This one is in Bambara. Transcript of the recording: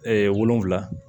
wolonfila